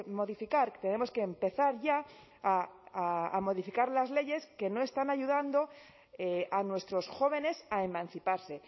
modificar tenemos que empezar ya a modificar las leyes que no están ayudando a nuestros jóvenes a emanciparse